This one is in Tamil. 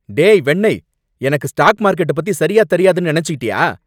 டேய் வெண்ணெய்! எனக்கு ஸ்டாக் மார்கெட்ட பத்தி சரியா தெரியாதுன்னு நனைச்சுகிட்டயா?